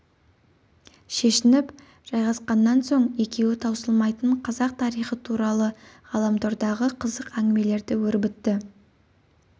шешініп жайғасқаннан соң екеуі таусылмайтын қазақ тарихы туралы ғаламтордағы қызықты әңгімелерді өрбітті